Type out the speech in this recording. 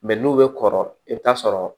Mɛ n'u bɛ kɔrɔ i bɛ taa sɔrɔ